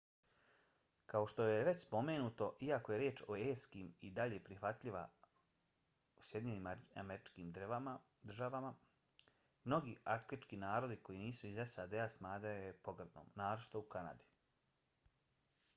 kao što je već spomenuto iako je riječ eskim i dalje prihvatljiva u sjedinjenim državama mnogi arktički narodi koji nisu iz sad-a smatraju je pogrdnom naročito u kanadi